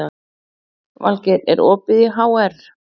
Vilgeir, er opið í HR?